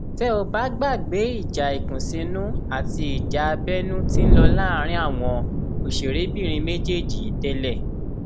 tẹ ò bá gbàgbé ìjà ìkùnsínú àti ìjà abẹnú tí ń lọ láàrin àwọn òṣèrébìnrin méjèèjì yìí tẹlẹ